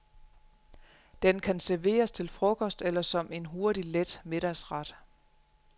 Den kan serveres til frokost eller som en hurtig, let middagsret.